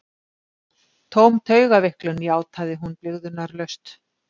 Tóm taugaveiklun, játaði hún blygðunarlaust.